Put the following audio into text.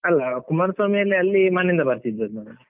ಅಲ್ಲ, ಕುಮಾರಸ್ವಾಮಿ ಅಲ್ಲಿ ಅಲ್ಲಿ ಮನೆಯಿಂದ ಬರ್ತಿದ್ದದ್ ನಾನು.